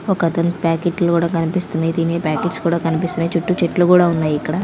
ఒకతను ప్యాకెట్లు కూడా కనిపిస్తున్నాయ్ తినే ప్యాకెట్స్ కూడా కనిపిస్తున్నాయ్ చుట్టూ చెట్లు కూడా ఉన్నాయ్ ఇక్కడ--